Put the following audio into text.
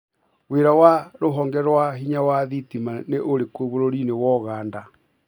wira wa rũhonge rwa hinya wa thitima nĩ ũrĩkũ bũrũrĩĩnĩ wa Ũganda.